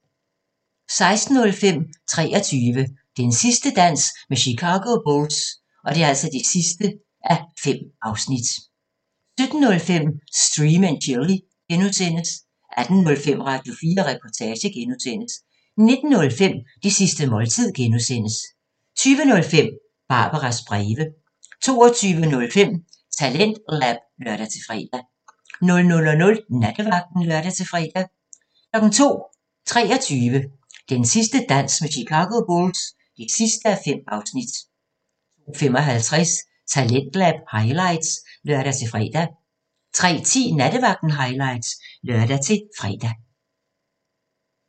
16:05: 23 – Den sidste dans med Chicago Bulls (5:5) 17:05: Stream & Chill (G) 18:05: Radio4 Reportage (G) 19:05: Det sidste måltid (G) 20:05: Barbaras breve 22:05: TalentLab (lør-fre) 00:00: Nattevagten (lør-fre) 02:00: 23 – Den sidste dans med Chicago Bulls (5:5) 02:55: Talentlab highlights (lør-fre) 03:10: Nattevagten highlights (lør-fre)